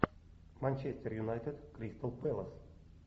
манчестер юнайтед кристал пэлас